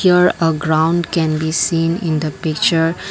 here a ground can be seen in the picture.